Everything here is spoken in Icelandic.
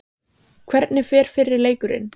Hvernig fer fyrri leikurinn?